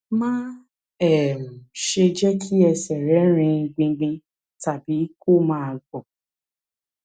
má um ṣe jẹ kí ẹsẹ rẹ rin gbingbin tàbí kó máa gbọn